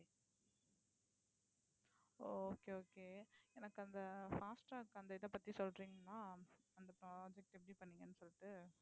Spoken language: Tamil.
ஓ okay okay எனக்கு அந்த fast tag அந்த இதைப் பத்தி சொல்றீங்களா அந்த project எப்படி பண்ணீங்கன்னு சொல்லிட்டு